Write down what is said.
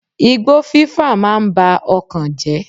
Igbó fí fà máa ń ba ọkàn jẹ́.